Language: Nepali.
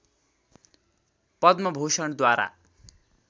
पद्म भूषणद्वारा